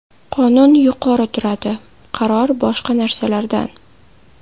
Qonun yuqori turadi, qaror, boshqa narsalardan.